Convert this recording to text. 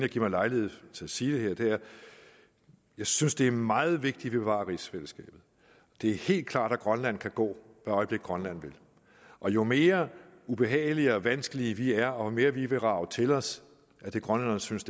at give mig lejlighed til at sige det er at jeg synes det er meget vigtigt at bevare rigsfællesskabet det er helt klart at grønland kan gå hvad øjeblik grønland vil og jo mere ubehagelige og vanskelige vi er og jo mere vi vil rage til os af det grønlænderne synes